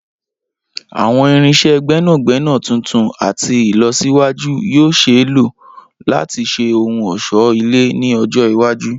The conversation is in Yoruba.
Awọn irinṣẹ gbẹnagbẹna tuntun ati ilọsiwaju yoo ṣee lo lati ṣe ohun ọṣọ-ile ni ọjọ iwaju.